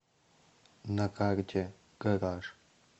на карте гараж